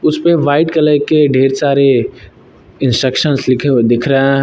उसपे white colour के ढेर सारे इंस्ट्रक्शंस लिखे हुए दिख रहा है।